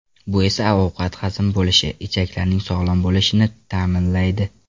Bu esa ovqat hazm bo‘lishi, ichaklarning sog‘lom bo‘lishini ta’minlaydi.